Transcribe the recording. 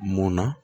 Munna